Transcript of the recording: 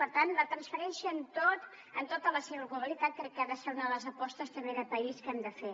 per tant la transferència en tota la seva globalitat crec que ha de ser una de les apostes també de país que hem de fer